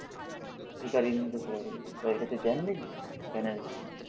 ভিখারির মতন পরে রয়েছে। তাদের কাছে জ্ঞান নেই, জ্ঞানের ভান্ডার